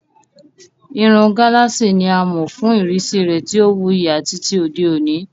Irun gálààsì ni a mọ̀ fún ìrísí rẹ̀ tí ó wuyì àti ti òde òní.